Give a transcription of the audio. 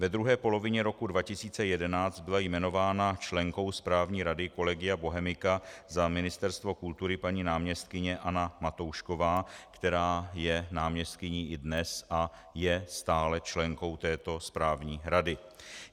Ve druhé polovině roku 2011 byla jmenována členkou správní rady Collegia Bohemica za Ministerstvo kultury paní náměstkyně Anna Matoušková, která je náměstkyní i dnes a je stále členkou této správní rady.